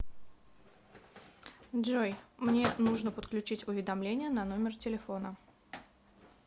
джой мне нужно подключить уведомление на номер телефона